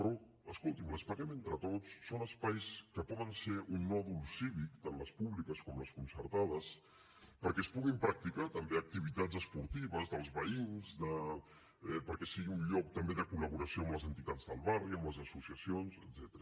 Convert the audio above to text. però escolti’m les paguem entre tots són espais que poden ser un nòdul cívic tant les públiques com les concertades perquè es puguin practicar també activitats esportives dels veïns perquè siguin un lloc també de col·laboració amb les entitats del barri amb les associacions etcètera